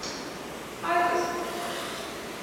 айкос